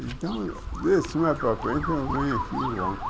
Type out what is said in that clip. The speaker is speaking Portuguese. Então, de cima para a frente, eu venho aqui e.